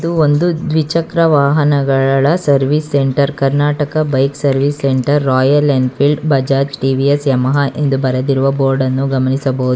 ಒಂದು ದ್ವಿಚಕ್ರ ವಾಹನಗಳಳ service centre Karnataka bike service centre royal enfield Bajaj T V S Yamaha ಎಂದು ಬರೆದಿರುವ ಬೋರ್ಡ್ ಅನ್ನು ಗಮನಿಸಬಹುದು.